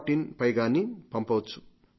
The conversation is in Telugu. in పైన గానీ పంపవచ్చు